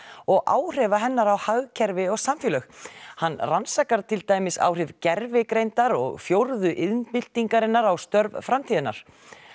og áhrifa hennar á hagkerfi og samfélög hann rannsakar til dæmis áhrif gervigreindar og fjórðu iðnbyltingarinnar á störf framtíðarinnar